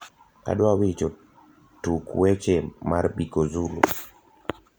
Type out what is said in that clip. adwa wicho tuk weche mar biko zulu